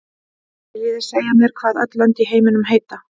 Viljið þið segja mér hvað öll lönd í heiminum heita?